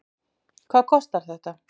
hvað kostar þetta